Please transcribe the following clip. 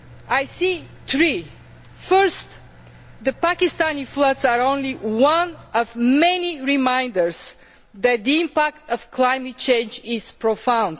the EU. I see three. First, the Pakistani floods are only one of many reminders that the impact of climate change is